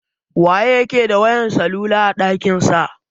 Wa yake da wayan salula a ɗakin sa?